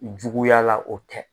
Juguya la o tɛ.